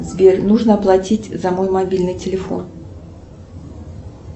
сбер нужно оплатить за мой мобильный телефон